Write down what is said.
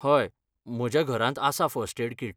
हय, म्हज्या घरांत आसा फर्स्ट एड कीट.